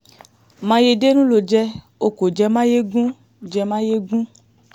mayedénú ló jẹ́ o kò jẹ́ mayegun jẹ́ mayegun